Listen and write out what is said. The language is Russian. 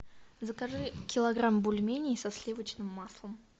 закажи килограмм бульменей со сливочным маслом